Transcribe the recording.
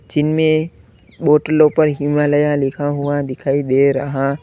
जिनमें बोटलों पर हिमालया लिखा हुआ दिखाई दे रहा--